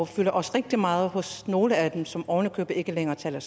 fylder rigtig meget hos nogle af dem som oven i købet ikke længere taler